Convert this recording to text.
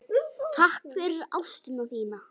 Takk fyrir ástina þína.